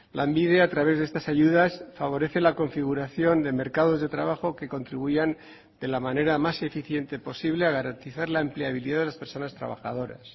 lanbide a través de estas ayudas favorece la configuración de mercados de trabajo que contribuyan de la manera más eficiente posible a garantizar la empleabilidad de las personas trabajadoras